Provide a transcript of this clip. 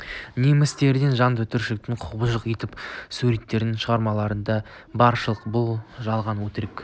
немістерді жан түршігерлік құбыжық етіп суреттейтін шығармалар да баршылық бұл жалған өтірік